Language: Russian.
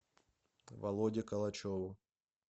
володе калачеву